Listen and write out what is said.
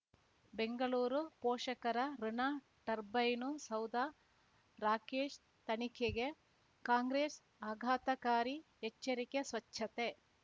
ಬೆಂಗಳೂರು ಪೋಷಕರಋಣ ಟರ್ಬೈನು ಸೌಧ ರಾಕೇಶ್ ತನಿಖೆಗೆ ಕಾಂಗ್ರೆಸ್ ಆಘಾತಕಾರಿ ಎಚ್ಚರಿಕೆ ಸ್ವಚ್ಛತೆ